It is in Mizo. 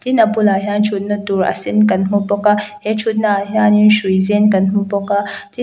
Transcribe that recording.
tin a bulah hian thutna tur a sen kan hmu bawk a he thutnaah hianim hrui zen kan hmu bawk a tin hi--